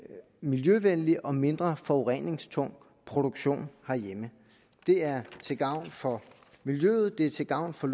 miljøvenlig og mindre forureningstung produktion herhjemme det er til gavn for miljøet det er til gavn for